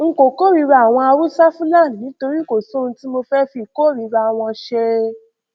n kò kórìíra àwọn haúsáfúlani nítorí kò sóhun tí mo fẹẹ fi ìkórìíra wọn ṣe